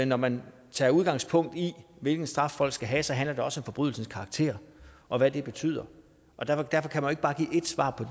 når man tager udgangspunkt i hvilken straf folk skal have handler det også om forbrydelsens karakter og hvad det betyder og derfor kan man ikke bare give ét svar på